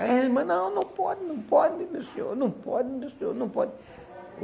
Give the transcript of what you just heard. A irmã, não, não pode, não pode, meu senhor, não pode, meu senhor, não pode.